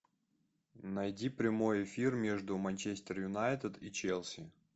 найди прямой эфир между манчестер юнайтед и челси